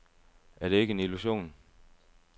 Er det ikke en illusion?